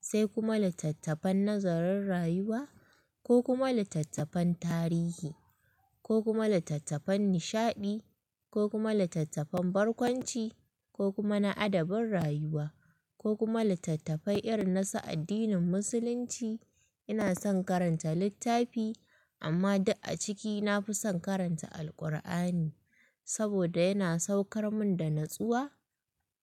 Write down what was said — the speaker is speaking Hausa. sai kuma littattafan nazarin rayuwa ko kuma littattafan tarihi ko kuma littattafan nishaɗi ko kuma littattafan barkwanci ko kuma na adabin rayuwa ko kuma littattafai irin nasu addinin musulunci. Ina son karanta littafi amma duk a ciki na fi son karanta Alkur'ani saboda yana saukar min da natsuwa.